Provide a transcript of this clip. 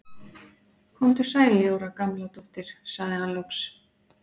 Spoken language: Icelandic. Komdu sæl Jóra Gamladóttir sagði hann loks.